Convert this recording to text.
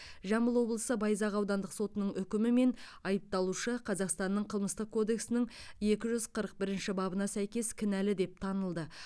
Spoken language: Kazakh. жамбыл облысы байзақ аудандық сотының үкімімен айыпталушы қазақстанның қылмыстық кодексінің екі жүз қырық бірінші бабына сәйкес кінәлі деп танылды